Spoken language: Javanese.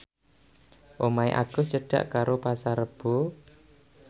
omahe Agus cedhak karo Pasar Rebo